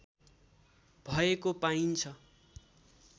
भएको पाइन्छ